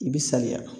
I bi saliya